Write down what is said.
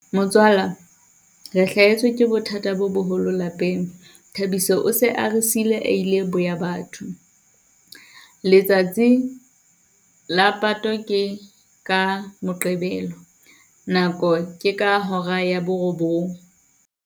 Motswala re hlahetswe ke bothata bo boholo lapeng. Thabiso o se a re siile a ile boya batho. Letsatsi la pato ke ka Moqebelo, nako ke ka hora ya borobong.